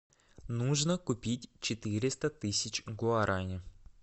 нужно купить четыреста тысяч гуарани